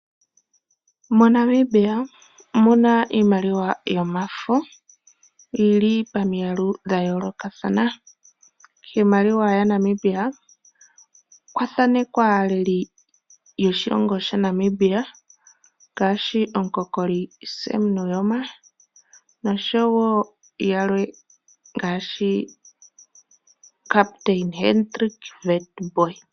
MoNamibia omu na iimaliwa yomafo yi li pamiyalu dha yoolokathana. Kiimaliwa yaNamibia okwa thanekwa iilimbo yoshilongo shaNamibia ngaashi omukokoli Sam Nujoma, nosho wo yalwe ngaashi Captain Hendrik Witbooi.